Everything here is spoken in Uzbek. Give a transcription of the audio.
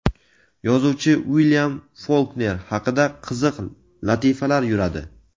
yozuvchi Uilyam Folkner haqida qiziq latifalar yuradi.